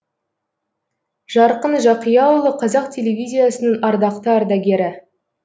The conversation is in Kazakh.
жарқын жақияұлы қазақ телевизиясының ардақты ардагері